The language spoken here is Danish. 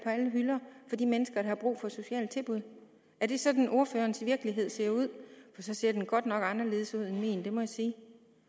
alle hylder for de mennesker der har brug for sociale tilbud er det sådan ordførerens virkelighed ser ud for så ser den godt nok anderledes ud end min det må jeg sige